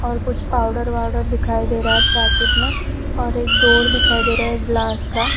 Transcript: और कुछ पाउडर वाऊडर दिखाई दे रहा है पैकेट में और एक डोर दिखाई दे रहा है ग्लास का।